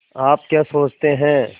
आप क्या सोचते हैं